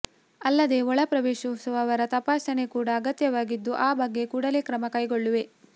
ಅಲ್ಲದೆ ಒಳ ಪ್ರವೇಶಿಸುವವರ ತಪಾಸಣೆ ಕೂಡ ಅಗತ್ಯವಾಗಿದ್ದು ಆ ಬಗ್ಗೆ ಕೂಡಲೇ ಕ್ರಮ ಕೈಗೊಳ್ಳುವೆ